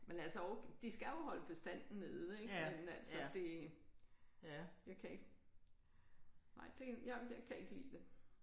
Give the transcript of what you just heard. Men altså over de skal jo holde bestanden nede ik men altså det jeg kan ikke nej det jeg jeg kan ikke lide det